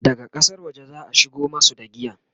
daga ƙasar waje zaa shigo masu da giyan